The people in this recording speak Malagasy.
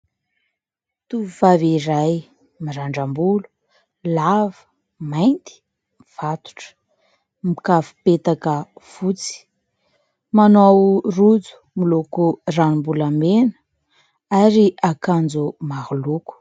Tovovavy iray mirandram-bolo, lava, mainty, mifatotra, mikavim-petaka fotsy. Manao rojo miloko ranom-bolamena ary akanjo maro loko.